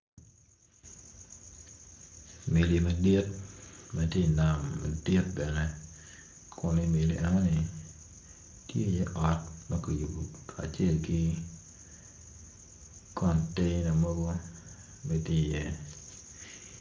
Meli madit ma ti i nam madit bene kun imeli eoni tye iye ot ma ki yubu kacel ki conteina mogo be tye iye